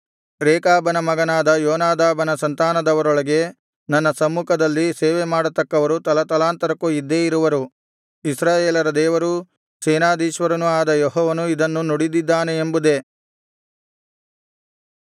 ರೇಕಾಬನ ಮಗನಾದ ಯೋನಾದಾಬನ ಸಂತಾನದವರೊಳಗೆ ನನ್ನ ಸಮ್ಮುಖದಲ್ಲಿ ಸೇವೆಮಾಡತಕ್ಕವರು ತಲತಲಾಂತರಕ್ಕೂ ಇದ್ದೇ ಇರುವರು ಇಸ್ರಾಯೇಲರ ದೇವರೂ ಸೇನಾಧೀಶ್ವರನೂ ಆದ ಯೆಹೋವನು ಇದನ್ನು ನುಡಿದಿದ್ದಾನೆ ಎಂಬುದೇ